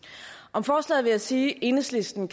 om forslaget vil jeg sige at enhedslisten